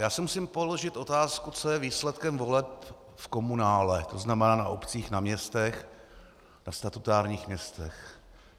Já si musím položit otázku, co je výsledkem voleb v komunále, to znamená na obcích, na městech, ve statutárních městech.